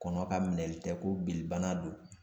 Kɔnɔ ka minɛli kɛ ko bilibana don